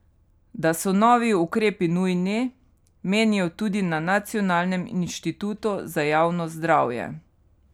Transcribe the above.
Da so novi ukrepi nujni, menijo tudi na Nacionalnem inštitutu za javno zdravje.